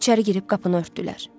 İçəri girib qapını örtdülər.